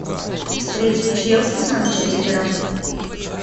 встреча челси с манчестером